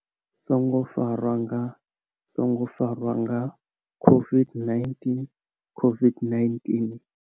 songo farwa nga, songo farwa nga COVID-19COVID-19.